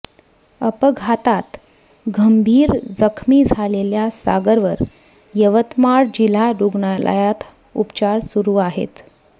अपघातात गंभीर जखमी झालेल्या सागरवर यवतमाळ जिल्हा रुग्णालयात उपचार सुरू आहेत